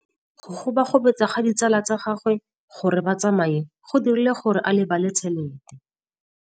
Go gobagobetsa ga ditsala tsa gagwe, gore ba tsamaye go dirile gore a lebale tšhelete.